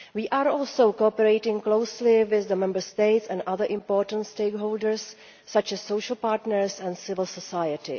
We are also cooperating closely with the Member States and other important stakeholders such as the social partners and civil society.